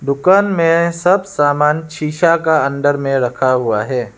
दुकान में सब समान शीशा का अंदर में रखा हुआ है।